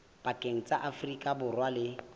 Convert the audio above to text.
pakeng tsa afrika borwa le